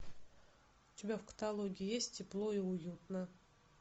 у тебя в каталоге есть тепло и уютно